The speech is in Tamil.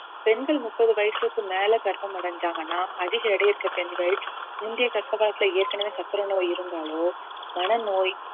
பெண்கள் முப்பது வயசுக்கு மேல கர்ப்பம் அடைஞ்சாங்கன்னா அதிக எடை இருக்க பெண்கள் முந்தைய கர்ப்ப காலத்துல ஏற்கனவே சர்க்கரை நோய் இருந்தாலோ மனநோய்